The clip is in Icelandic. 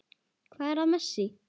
Hvað er að Messi?